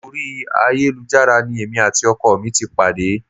Orí ayélujára ni èmi àti ọkọ mi ti pàdé